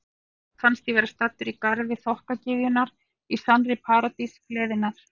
Mér fannst ég vera staddur í garði þokkagyðjanna, í sannri paradís gleðinnar.